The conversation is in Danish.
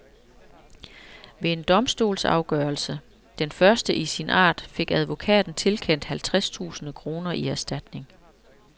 Ved en domstolsafgørelse, den første i sin art, fik advokaten tilkendt halvtreds tusinde kroner i erstatning.